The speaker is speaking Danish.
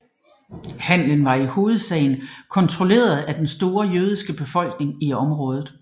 Handelen var i hovedsagen kontrolleret af den store jødiske befolkning i området